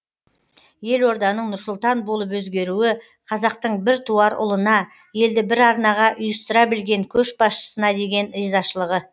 елорданың нұр сұлтан болып өзгеруі қазақтың біртуар ұлына елді бір арнаға ұйыстыра білген көшбасшысына деген ризашылығы